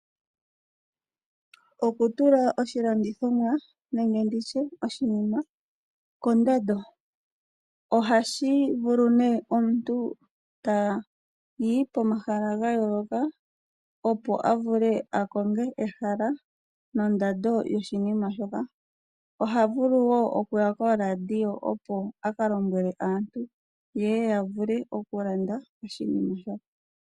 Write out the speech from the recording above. Okutula oshilandithomwa nenge ndi tye oshinima kondando. Ohashi vulu ne omuntu ta yi pomahala ga yooloka opo a vule a konge ehala nondando yoshinima shoka. Oha vulu wo okuya koradio opo a ka lombwele aantu yeye ya vule okulanda oshinima sho.